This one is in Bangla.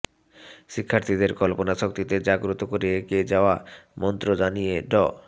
শিক্ষার্থীদের কল্পনাশক্তিতে জাগ্রত করে এগিয়ে যাওয়া মন্ত্র জানিয়ে ড